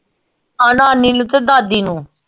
ਹਾਂ ਨਾਨੀ ਨੂੰ ਤੇ ਦਾਦੀ ਨੂੰ